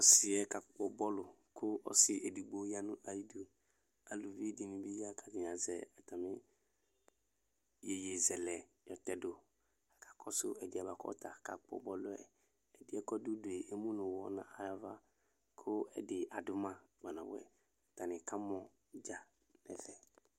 Ɔsiɛ kakpɔ bɔlu Kʋ ɔsi edigbo yanʋ ayiduAluvi dini bi ya , katani azɛ atami yeye zɛlɛ yɔtɛdu kakɔsʋ ɛdiyɛ buakʋ ɔta kakpɔ bɔlu yɛƐdiɛ kɔdʋdu yɛ emu nu uwɔ navaKʋ ɛdi adʋ ma kpanabuɛ Atani kamɔ dza nɛ fɛ